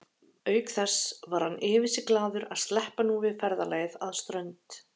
Auk þess var hann yfir sig glaður að sleppa nú við ferðalagið að Strönd.